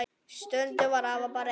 Stundum var afi bara einn.